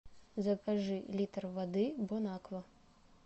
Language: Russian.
закажи литр воды бонаква